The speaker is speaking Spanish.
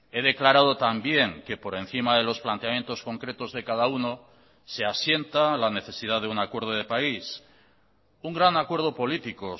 he declarado también que por encima de los planteamientos concretos de cada uno se asienta la necesidad de un acuerdo de país un gran acuerdo político